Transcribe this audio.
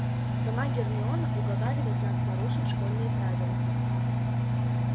сама гермиона уговаривает нас нарушить школьные правила